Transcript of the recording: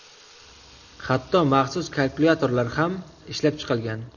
Hatto maxsus kalkulyator lar ham ishlab chiqilgan.